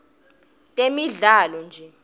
temidlalo nje